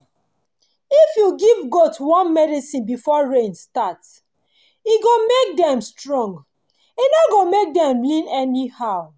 when goat body dry come dey peel or e rough well well na sickness wey dey worry dem when e get as the weather be